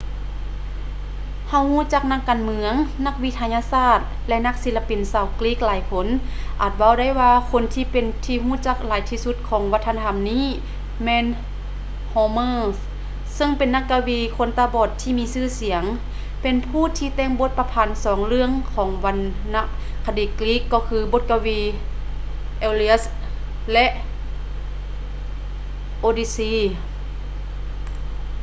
ເຮົາຮູ້ຈັກນັກການເມືອງ ນັກວິທະຍາສາດ ແລະ ນັກສິລະປິນຊາວກຣີກຫຼາຍຄົນ ອາດເວົ້າໄດ້ວ່າຄົນທີ່ເປັນທີ່ຮູ້ຈັກຫຼາຍທີ່ສຸດຂອງວັດທະນະທໍານີ້ແມ່ນ homer ເຊິ່ງເປັນນັກກະວີຄົນຕາບອດທີ່ມີຊື່ສຽງ ເປັນຜູ້ທີ່ແຕ່ງບົດປະພັນສອງເລື່ອງຂອງວັນນະຄະດີກຣີກກໍຄື ບົດກະວີ iliad ແລະ odyssey